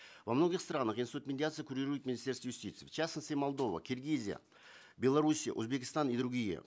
во многих странах институт медиации курирует министерство юстиции в частности молдова киргизия беларусь узбекистан и другие